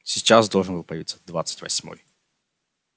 сейчас должен был появиться двадцать восьмой